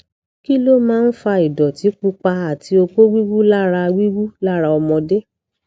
kí ló máa ń fa ìdọtí pupa àti oko wiwu lara wiwu lara ọmọdé